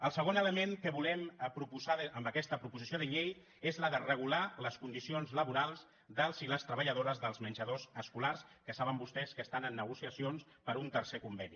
el segon element que volem proposar amb aquesta proposició de llei és el de regular les condicions laborals dels i les treballadores dels menjadors escolars que saben vostès que estan en negociacions per un tercer conveni